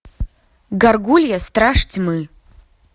гаргулья страж тьмы